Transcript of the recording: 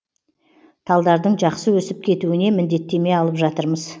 талдардың жақсы өсіп кетуіне міндеттеме алып жатырмыз